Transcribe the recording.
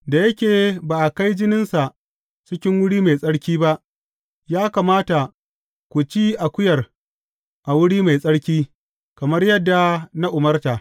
Da yake ba a kai jininsa cikin wuri mai tsarki ba, ya kamata ku ci akuyar a wuri mai tsarki, kamar yadda na umarta.